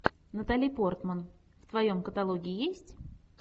натали портман в твоем каталоге есть